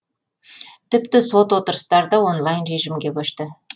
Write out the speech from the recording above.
тіпті сот отырыстары да онлайн режимге көшті